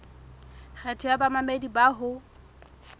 kgetho ya bamamedi bao ho